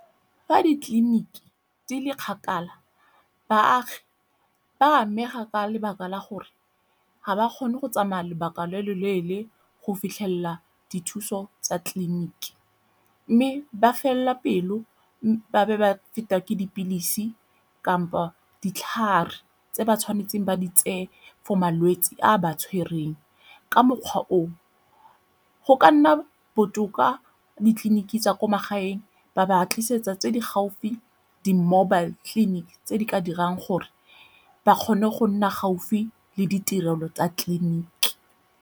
Fa ditleliniki di le kgakala, baagi ba a amega ka lebaka la gore ga ba kgone go tsamaya lobaka lo lo leele go fitlhelela dithuso tsa tleliniki. Mme ba felelwa pelo ba be ba feta ke dipilisi kampo ditlhare tse ba tshwanetseng ba di tseye for malwetsi a a ba tshwereng. Ka mokgwa o go ka nna botoka ditleliniki tsa kwa magaeng ba ba tlisetsa tse di gaufi di-mobile clinic tse di ka dirang gore ba kgone go nna gaufi le ditirelo tsa tleliniki.